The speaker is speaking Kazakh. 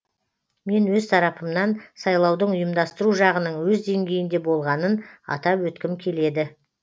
мен өз тарапымнан сайлаудың ұйымдастыру жағының өз деңгейінде болғанын атап өткім келеді